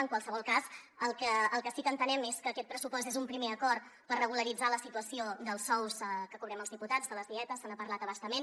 en qualsevol cas el que sí que entenem és que aquest pressupost és un primer acord per regularitzar la situació dels sous que cobrem els diputats de les dietes se n’ha parlat a bastament